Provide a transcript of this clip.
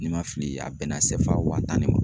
N'i ma fili a bɛnna wa tan ne ma.